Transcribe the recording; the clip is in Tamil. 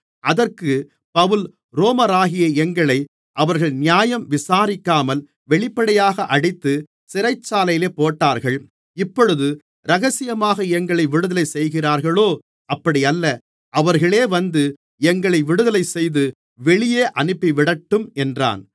அதற்குப் பவுல் ரோமராகிய எங்களை அவர்கள் நியாயம் விசாரிக்காமல் வெளிப்படையாக அடித்து சிறைச்சாலையிலே போட்டார்கள் இப்பொழுது இரகசியமாக எங்களை விடுதலை செய்கிறார்களோ அப்படியல்ல அவர்களே வந்து எங்களை விடுதலைசெய்து வெளியே அனுப்பிவிடட்டும் என்றான்